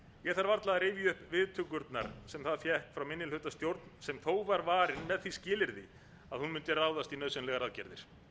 ég þarf varla að rifja upp viðtökurnar sem það fékk frá minnihlutastjórn sem þó var varin með því skilyrði að hún mundi ráðast í nauðsynlegar aðgerðir